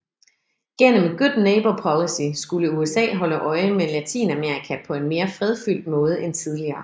Gennem Good Neighbor Policy skulle USA holde øje med Latinamerika på en mere fredfyldt måde end tidligere